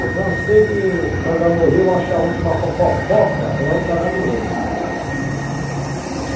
Eu cansei de estar andando no rio, achar onde tinha uma fo fofoca é onde está dando ouro.